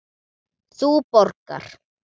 Þú borgar.